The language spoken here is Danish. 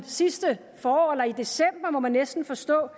sidste forår eller i december må man næsten forstå